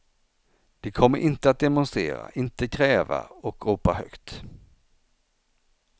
De kommer inte att demonstrera, inte kräva och ropa högt.